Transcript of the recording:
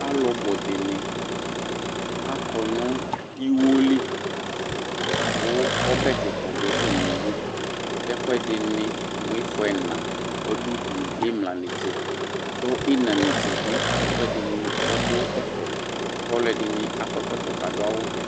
Alu budini akɔ nu iwo li ku ɔbɛ kika didu atamidu ɛkuɛdini mu ifɔ ɛna ɔdu udu ku imla netsebi ku ina netse ɛkuɛdini adu ɛfɛ ku ɔlɔdini akɔ ɛkɔtɔ ku adu awu vɛ